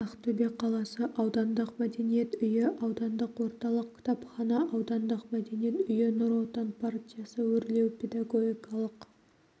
ақтөбе қаласы аудандық мәдениет үйі аудандық орталық кітапхана аудандық мәдениет үйі нұр отан партиясы өрлеу педагогикалық